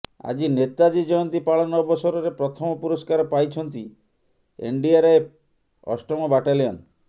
ଆଜି ନେତାଜୀ ଜୟନ୍ତୀ ପାଳନ ଅବସରରେ ପ୍ରଥମ ପୁରସ୍କାର ପାଇଛନ୍ତି ଏନଡିଆର୍ଏଫ୍ ଅଷ୍ଟମ ବାଟାଲିଅନ